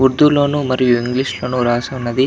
ఊర్దూ లో ను మరియు ఇంగ్లీషు లో ను రాసి ఉన్నది --